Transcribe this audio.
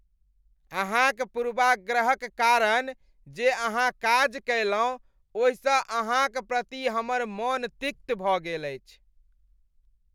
अहाँक पूर्वाग्रहक कारण जे अहाँ काज कयलहुँ ओहिसँ अहाँक प्रति हमर मन तिक्त भऽ गेल अछि।